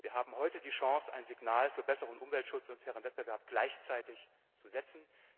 waren. Wir haben heute die Chance, ein Signal für besseren Umweltschutz und fairen Wettbewerb gleichzeitig zu setzen.